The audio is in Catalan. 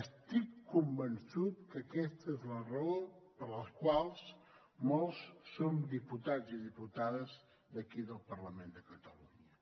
estic convençut que aquesta és la raó per la qual molts som diputats i diputades d’aquí del parlament de catalunya